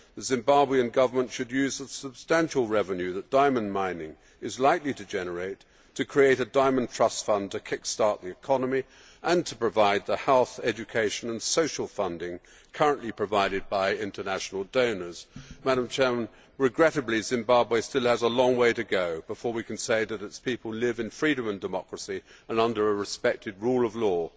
The Zimbabwean Government should use the substantial revenue that diamond mining is likely to generate to create a diamond trust fund to kick start the economy and to provide the health, education and social funding currently provided by international donors. Regrettably, Zimbabwe still has a long way to go before we can say that its people live in freedom and democracy and under a respected rule of law.